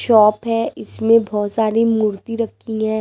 Shop है इसमें बहुत सारी मूर्ति रखी है।